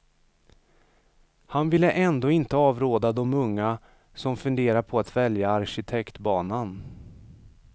Han vill ändå inte avråda de unga som funderar på att välja arkitektbanan.